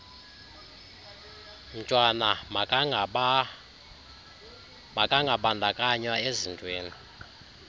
mntwana makangabandakanywa ezintweni